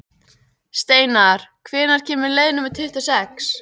Steinar, hvenær kemur leið númer tuttugu og sex?